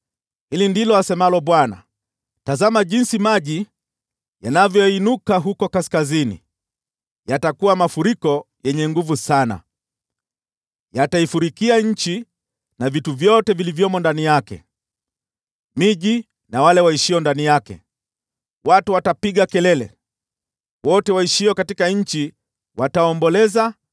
Hili ndilo asemalo Bwana : “Tazama jinsi maji yanavyoinuka huko kaskazini, yatakuwa mafuriko yenye nguvu sana. Yataifurikia nchi na vitu vyote vilivyomo ndani yake, miji na wale waishio ndani yake. Watu watapiga kelele; wote waishio katika nchi wataomboleza